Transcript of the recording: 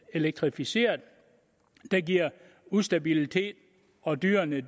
elektrificeret der giver ustabilitet og dyrene